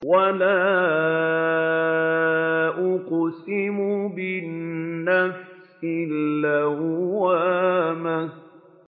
وَلَا أُقْسِمُ بِالنَّفْسِ اللَّوَّامَةِ